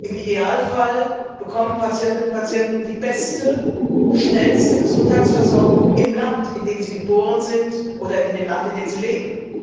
Im Idealfall bekommen Patientinnen und Patienten die beste, schnellste Gesundheitsversorgung in dem Land, in dem sie geboren sind, oder in dem Land, in dem sie leben.